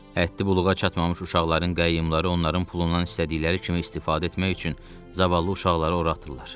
Ətli buluğa çatmamış uşaqların qəyyumları onların pulundan istədikləri kimi istifadə etmək üçün zavallı uşaqları ora atırlar.